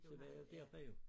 Så var jeg dér bare jo